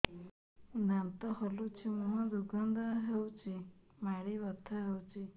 ଦାନ୍ତ ହଲୁଛି ମୁହଁ ଦୁର୍ଗନ୍ଧ ହଉଚି ମାଢି ବଥା ହଉଚି